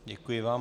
Děkuji vám.